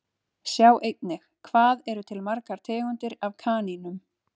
Sjá einnig Hvað eru til margar tegundir af kanínum?